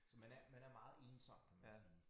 Så man er man er meget ensom kan man sige